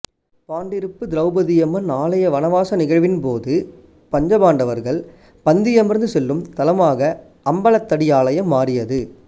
பாண்டிருப்பு திரோபதையம்மன் ஆலய வனவாச நிகழ்வின் போது பஞ்சபாண்டவர்கள் பந்தியமர்ந்து செல்லும் தலமாக அம்பலத்தடி ஆலயம் மாறியது